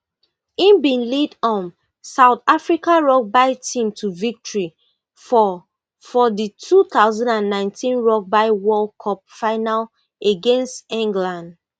im bin lead um south african rugby team to victory for for di two thousand and nineteen rugby world cup final against england